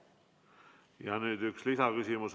Ja nüüd üks lisaküsimus.